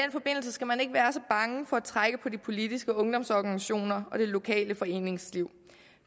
skal man ikke være så bange for at trække på de politiske ungdomsorganisationer og det lokale foreningsliv